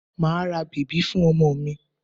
Màá ra bèbí fún ọmọ mi.